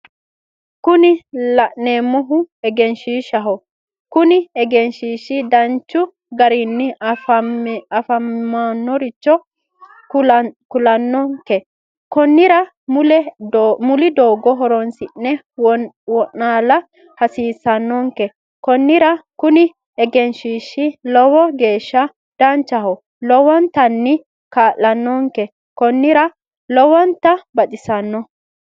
Kuni la'neemohu egenshishshaho Kuni egenshishi danchu garinni afi'neemmoricho kulanonke konnira muli doogo horonsi'ne wo'naala hasiissanonke konnira Kuni egenshiishshi lowo geesha danchaho lowontanni kaala'nonke konnira lowonta baxissanno